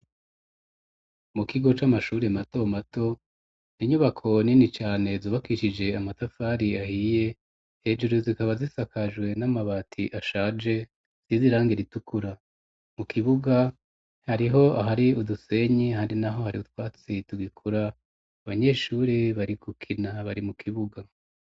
Mukigo c'amashuri mato mato ninyubako nini cane zubakicije amatafari ahiye, hejuru zikaba zisakajwe n'amabati ashaje asize irange ritukura, mu kibuga hariho ahari udusenyi hari naho hari utwatsi tugikura, abanyeshuri bari gukina bari mu kibuga.